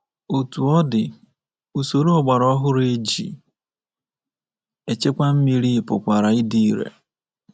Otú ọ dị, usoro ọgbara ọhụrụ e ji echekwa mmiri pụkwara ịdị ire.